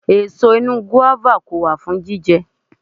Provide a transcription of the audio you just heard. Èso inú gùáfà kò wà fún jíjẹ